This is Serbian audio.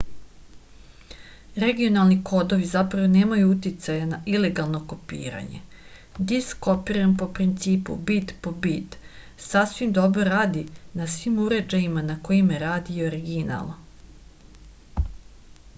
regionalni kodovi zapravo nemaju uticaja na ilegalno kopiranje disk kopiran po principu bit po bit sasvim dobro radi na svim uređajima na kojima radi i original